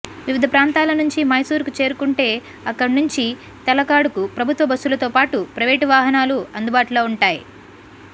వివిధ ప్రాంతల నుంచి మైసూరుకు చేరుకుంటే అక్కడి నుంచి తలకాడుకు ప్రభుత్వ బస్సులతో పాటు ప్రైవేటు వాహనాలు అందుబాటులో ఉంటాయి